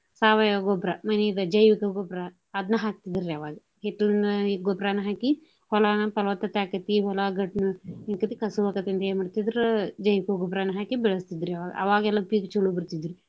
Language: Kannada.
ಸಾವಯವ ಗೊಬ್ರಾ ಮನಿದ ಜೈವಿಕ ಗೊಬ್ರಾ ಅದ್ನು ಹಾಕ್ತಿದ್ರಿ ಅವಾಗ ಹಿತ್ತಲನ್ಯಾದ ಗೊಬ್ರಾನ ಹಾಕಿ ಹೊಲನ ಪಲವತ್ತತೆ ಆಕ್ಕೇತಿ ಹೊಲ ಗಟ್ಟಿ ಕಸು ಆಕ್ಕೇತಿ ಅಂತ ಅಂದ ಏನ ಮಾಡ್ತಿದ್ರ ಜೈವಿಕ ಗೊಬ್ರಾ ಹಾಕಿ ಬೆಳಸ್ತಿದ್ರಿ ಅವಾಗ. ಅವಾಗ ಎಲ್ಲಾ ಪೀಕ ಚೊಲೋ ಬರ್ತಿದ್ದುರಿ.